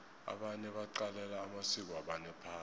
abanye baqalela amasiko wabanye phasi